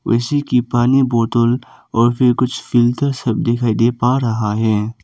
उसी की पानी बोतल और फिर कुछ फिल्टर सब दिखाई दे पा रहा है।